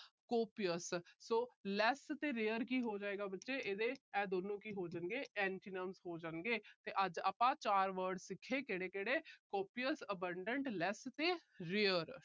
copious so less ਤੇ rare ਕੀ ਹੋ ਜਾਏਗਾ ਬੱਚੇ। ਇਹ ਦੋਨੋਂ ਕੀ ਹੋ ਜਾਣਗੇ, ਇਹਦੇ antonyms ਹੋ ਜਾਣਗੇ ਤੇ ਅੱਜ ਆਪਾ ਚਾਰ word ਸਿੱਖੇ ਕਿਹੜੇ ਕਿਹੜੇ copious abandon less ਤੇ rare